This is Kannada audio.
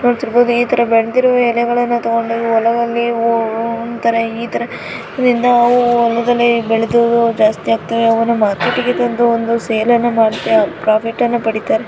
ನೋಡಿರಬಹುದು ಈ ತಾರಾ ಬೆಳೆದಿರೋ ಎಲೆಗಳನ್ನ ತಗೊಂಡು ಹೋಗಿ ಹೊಲದಲ್ಲಿ ಉ ಉ ಒಂದ್ತಾರ ಈಥರ ಇದ್ರಿಂದ ಉ ಉ ಬೆಳದು ಜಾಸ್ತಿ ಆಗ್ತಾವೇ. ಅವನ ಮಾರ್ಕೆಟ್ ಇಗೆ ತಂದು ಒಂದು ಸೇಲ್ ಅನ್ನ ಮಾಡ್ತ ಪ್ರಾಫಿಟ್ ಅನ್ನ ಪಡೀತಾರೆ.